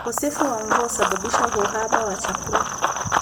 Ukosefu wa mvua husababisha uhaba wa chakula.